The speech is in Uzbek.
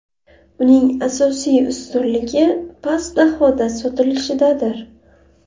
Uning asosiy ustunligi past bahoda sotilishidadir.